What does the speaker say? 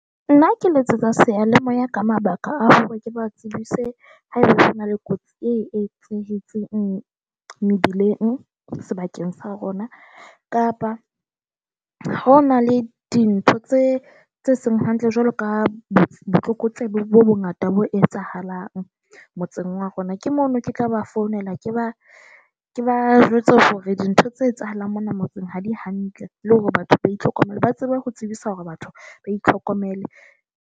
Nna ke letsetsa seyalemoya ka mabaka a hore ke ba tsebise haeba hona le kotsi e etsahetseng mebileng sebakeng sa rona, kapa ho na le dintho tse tse seng hantle jwalo ka botlokotsebe bo bongata bo etsahalang motseng wa rona. Ke mono ke tla ba founela, ke ba ke ba jwetse hore dintho tse etsahalang mona motseng ha di hantle le hore batho ba itlhokomele, ba tsebe ho tsebisa hore batho ba itlhokomele.